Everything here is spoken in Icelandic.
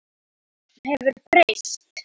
Þetta hefur breyst.